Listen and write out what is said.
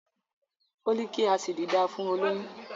Fólíkì Ásíìdì dáa fún olóyún.